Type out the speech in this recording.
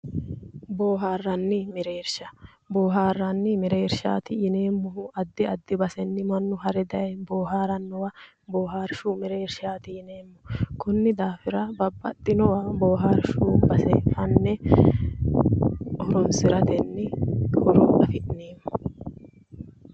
Boohaaranni mereersha bohaarranni mereershaati yineemmohu addi addi basenni mannu hare daye boohaarannowa boohaarshu merershaati yineemmo konni daafira babbaxxinowa boohaarshu base fanne horoonsiratenni horo afi'neemmo